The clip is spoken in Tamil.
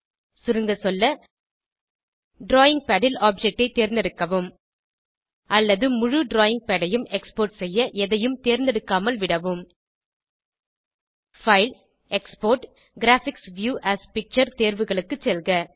சுருங்க சொல்ல டிராவிங் பாட் ல் ஆப்ஜெக்ட் ஐ தேர்ந்தெடுக்கவும் அல்லது முழு டிராவிங் பாட் ஐயும் எக்ஸ்போர்ட் செய்ய எதையும் தேர்ந்தெடுக்காமல் விடவும் பைல் ஜிடெக்ஸ்போர்ட் ஜிடி கிராபிக்ஸ் வியூ ஏஎஸ் பிக்சர் தேர்வுகளுக்கு செல்க